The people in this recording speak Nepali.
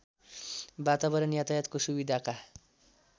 वातावरण यातायातको सुविधाका